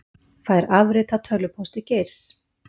Fær afrit af tölvupósti Geirs